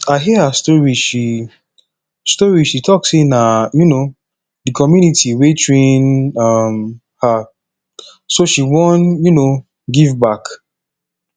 i hear her story she story she talk say na um the community wey train um her so she wan um give back